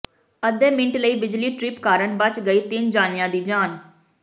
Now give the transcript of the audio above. ਅੱਧੇ ਮਿੰਟ ਲਈ ਬਿਜਲੀ ਟਰਿਪ ਕਾਰਨ ਬਚ ਗਈ ਤਿੰਨ ਜਣਿਆਂ ਦੀ ਜਾਨ